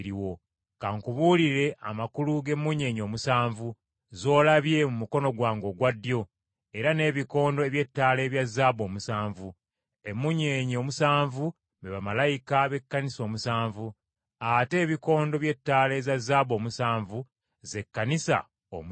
Ka nkubuulire amakulu g’emmunyeenye omusanvu z’olabye mu mukono gwange ogwa ddyo, era n’ebikondo eby’ettaala ebya zaabu omusanvu. Emmunyeenye omusanvu be bamalayika b’Ekkanisa omusanvu, ate ebikondo by’ettaala eza zaabu omusanvu ze Kkanisa omusanvu.”